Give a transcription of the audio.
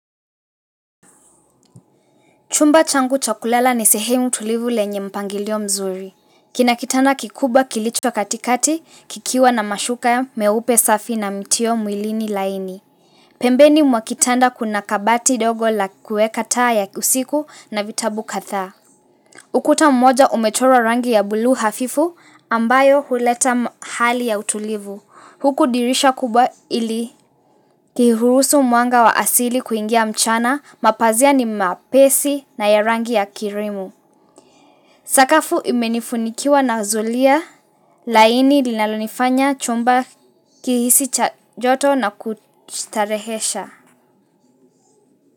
Chumba changu cha kulala ni sehemu tulivu lenye mpangilio mzuri. Kina kitanda kikubwa kilichwat katikati, kikiwa na mashuka ya meupe safi na mtio mwilini laini. Pembeni mwa kitanda kuna kabati ndogo la kueka taa ya usiku, na vitabu kadhaa. Ukuta mmoja umechorwa rangi ya bluu hafifu, ambayo huleta hali ya utulivu. Huku dirisha kubwa ili kihurusu mwanga wa asili kuingia mchana, mapazia ni mapesi na ya rangi ya kirimu. Sakafu imenifunikiwa na zulia, laini linalonifanya chumba kihisi joto na kustarehesha.